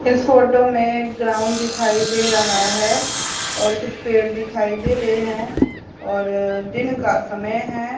इस फोटो में एक ग्राउंड दिखाई दे रहा है और कुछ पेड़ दिखाई दे रहे हैं और दिन का समय है।